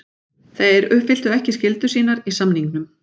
Þeir uppfylltu ekki skyldur sínar í samningnum.